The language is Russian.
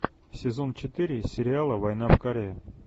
сезон четыре сериала война в корее